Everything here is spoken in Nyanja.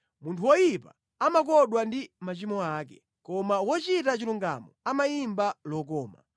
Munthu woyipa amakodwa ndi machimo ake, koma wochita chilungamo amayimba lokoma.